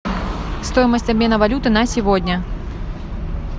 стоимость обмена валюты на сегодня